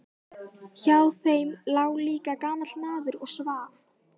Hjá þeim lá líka gamall maður og svaf.